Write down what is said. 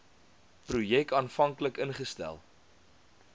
projek aanvanklik ingestel